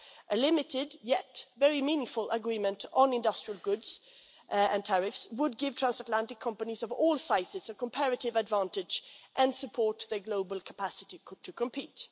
A limited yet very meaningful agreement on industrial goods and tariffs would give transatlantic companies of all sizes a comparative advantage and would support their global capacity to compete.